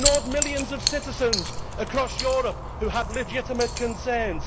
you ignored millions of citizens across Europe who have legitimate concerns.